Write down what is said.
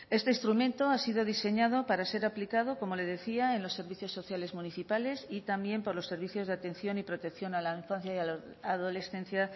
este instrumento ha sido diseñado para ser aplicado como le decía en los servicios sociales municipales y también por los servicios de atención y protección a la infancia y a la adolescencia